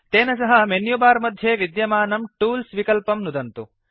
तेन सह मेन्युबार मध्ये विद्यमानं टूल्स् विकल्पं नुदन्तु